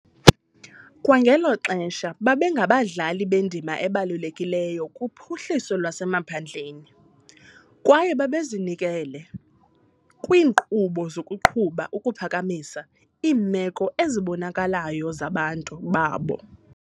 Kwangelo xesha, babengabadlali bendima ebalulekileyo kuphuhliso lwasemaphandleni, kwaye babezinikele kwiinkqubo zokuqhuba ukuphakamisa iimeko ezibonakalayo zabantu babo.